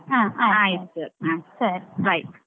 ಆ ಆಯ್ತು. ಹ ಸರಿ bye.